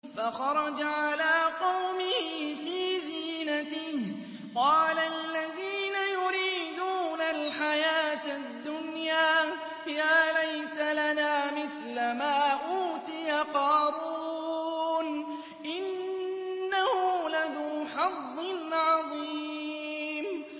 فَخَرَجَ عَلَىٰ قَوْمِهِ فِي زِينَتِهِ ۖ قَالَ الَّذِينَ يُرِيدُونَ الْحَيَاةَ الدُّنْيَا يَا لَيْتَ لَنَا مِثْلَ مَا أُوتِيَ قَارُونُ إِنَّهُ لَذُو حَظٍّ عَظِيمٍ